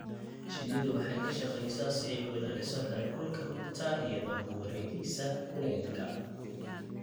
Shinnidu waxay ka shaqeysaa si ay u ilaaliso heerkulka rugta iyadoo ku wareegaysa kulaylka.